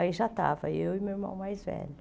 Aí já estava eu e meu irmão mais velho.